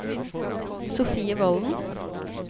Sofie Volden